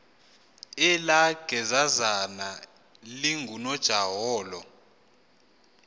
elaa gezazana lingunojaholo